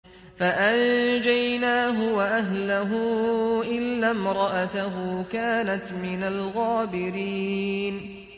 فَأَنجَيْنَاهُ وَأَهْلَهُ إِلَّا امْرَأَتَهُ كَانَتْ مِنَ الْغَابِرِينَ